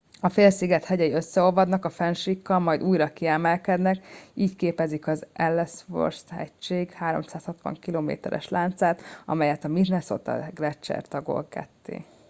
a félsziget hegyei összeolvadnak a fennsíkkal majd újra kiemelkednek így képezik az ellsworth hegység 360 km es láncát amelyet a minnesota gleccser tagol ketté